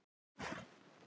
Þeir voru góðir.